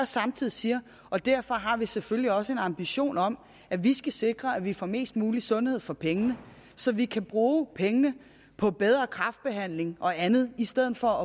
samtidig siger og derfor har vi selvfølgelig også en ambition om at vi skal sikre at vi får mest mulig sundhed for pengene så vi kan bruge pengene på bedre kræftbehandling og andet i stedet for